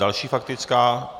Další faktická.